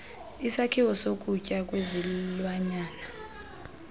isakhiwo sokutya kwezilwanyana